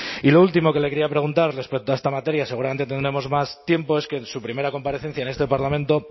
y lo último que le quería preguntar respecto a esta materia seguramente tendremos más tiempo es que en su primera comparecencia en este parlamento